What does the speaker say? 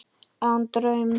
Án draums.